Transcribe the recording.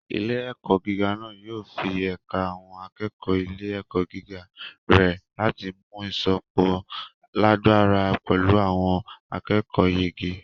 Ilé-ẹ̀kọ́ gíga náà yóò fẹ ẹ̀ka àwọn akẹ́kọ̀ọ́ ilé-ẹ̀kọ́ gíga rẹ̀ láti mú ìsopọ̀ lágbára pẹ̀lú àwọn akẹ́kọ̀ọ́yege.